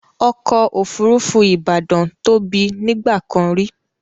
ọ̀kọ̀ ofúrúfú Ibadan tó bí nígbàkàn rí